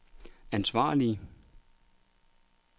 ansvarlige